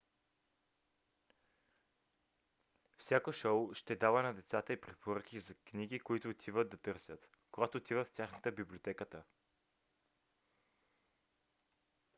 всяко шоу ще дава на децата и препоръки за книги които да търсят когато отиват в тяхната библиотеката